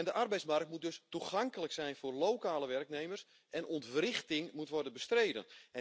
De arbeidsmarkt moet dus toegankelijk zijn voor lokale werknemers en ontwrichting moet worden bestreden.